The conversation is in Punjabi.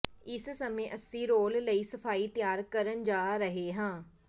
ਇਸ ਸਮੇਂ ਅਸੀਂ ਰੋਲ ਲਈ ਸਫਾਈ ਤਿਆਰ ਕਰਨ ਜਾ ਰਹੇ ਹਾਂ